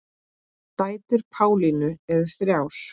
Dætur Pálínu eru þrjár.